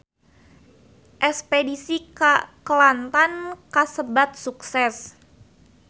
Espedisi ka Kelantan kasebat sukses